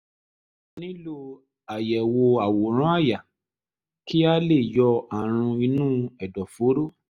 a nílò àyẹ̀wò àwòrán àyà kí a lè yọ ààrùn inú ẹ̀dọ̀fóró